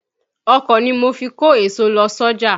Ọ̀kọ̀ ni mo fi kó èso lọ sọ́jà.